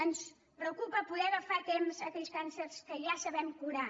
ens preocupa poder agafar a temps aquells càncers que ja sabem curar